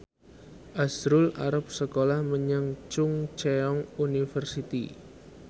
azrul arep sekolah menyang Chungceong University